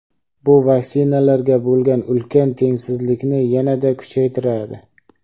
bu "vaksinalarga bo‘lgan ulkan tengsizlikni yanada kuchaytiradi".